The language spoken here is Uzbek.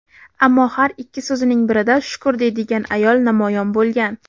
ammo har ikki so‘zining birida "shukr" deydigan ayol namoyon bo‘lgan.